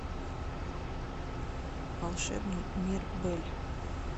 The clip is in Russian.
волшебный мир бэль